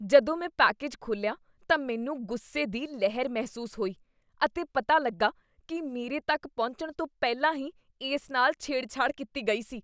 ਜਦੋਂ ਮੈਂ ਪੈਕੇਜ ਖੋਲ੍ਹਿਆ ਤਾਂ ਮੈਨੂੰ ਗੁੱਸੇ ਦੀ ਲਹਿਰ ਮਹਿਸੂਸ ਹੋਈ ਅਤੇ ਪਤਾ ਲੱਗਾ ਕੀ ਮੇਰੇ ਤੱਕ ਪਹੁੰਚਣ ਤੋਂ ਪਹਿਲਾਂ ਹੀ ਇਸ ਨਾਲ ਛੇੜਛਾੜ ਕੀਤੀ ਗਈ ਸੀ।